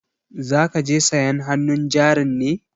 Za ka je sayan hannun jarin ne?